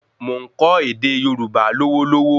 Mo n kọ ède Yorùbá lówó lówó